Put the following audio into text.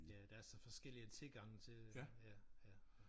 Ja der er så forskellige tilgange til ja ja ja